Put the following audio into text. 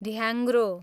ढ्याङ्ग्रो